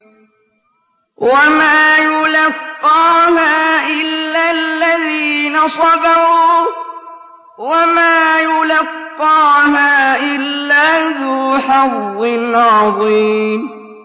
وَمَا يُلَقَّاهَا إِلَّا الَّذِينَ صَبَرُوا وَمَا يُلَقَّاهَا إِلَّا ذُو حَظٍّ عَظِيمٍ